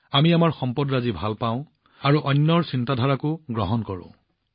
আমি আমাৰ বস্তুবোৰ ভাল পাওঁ আৰু নতুন বস্তুও গ্ৰহণ কৰো